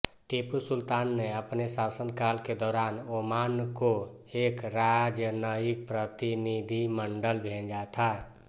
टीपू सुल्तान ने अपने शासनकाल के दौरान ओमान को एक राजनयिक प्रतिनिधिमंडल भेजा था